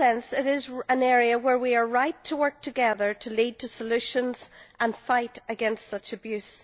It is therefore an area where we are right to work together to seek solutions and fight against such abuse.